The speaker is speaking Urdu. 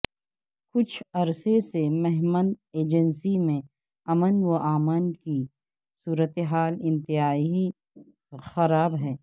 کچھ عرصہ سے مہمند ایجنسی میں امن و امان کی صورتحال انتہائی خراب ہے